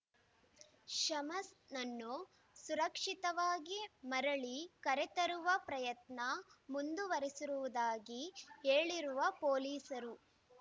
ಶಮ್ಸ್‌ನನ್ನು ಸುರಕ್ಷಿತವಾಗಿ ಮರಳಿ ಕರೆತರುವ ಪ್ರಯತ್ನ ಮುಂದುವರೆಸಿರುವುದಾಗಿ ಹೇಳಿರುವ ಪೊಲೀಸರು